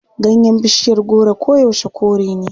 Ganyen bishiyar goro koyaushe kore ne.